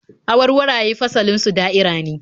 Awarwaraye fasalin su da'ira ne